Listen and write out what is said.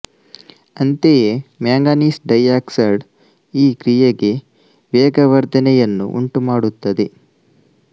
ಅಂತೆಯೇ manganese dioxide ಈ ಕ್ರಿಯೆಗೆ ವೇಗವರ್ಧನೆ ಯನ್ನು ಉಂಟು ಮಾಡುತ್ತದೆ